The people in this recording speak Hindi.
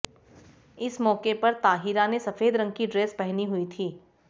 इस मौके पर ताहिरा ने सफेद रंग की ड्रेस पहनी हुई थी